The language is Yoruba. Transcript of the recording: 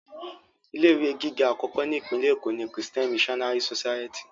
Ilé ìwé gíga àkọ́kọ́ ni Ìpínlẹ̀ Èkó ni Christian Missionary society